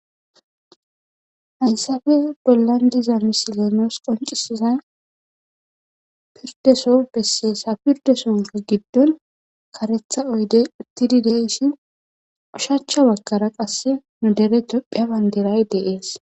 Hayssafe bollan diza misiloonoos qoncisiza pirdeso besse sa pirde sonko giddon karetha oydey uttidi deeshi ushacha wakara qasse nu dere tophiya banderay deees.